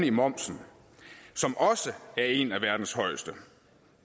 i momsen som også er en af verdens højeste